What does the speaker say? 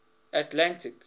atlantic